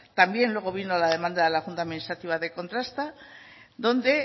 también luego vino la demanda de la junta administrativa de contrasta donde